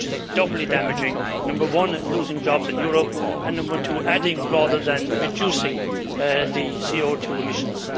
This is doubly damaging number one, losing jobs in Europe, and number two, increasing rather than reducing CO2 emissions.